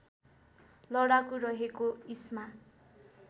लडाकु रहेको इस्मा